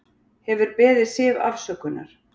Hefur beðið Siv afsökunar